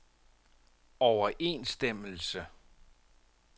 overensstemmelse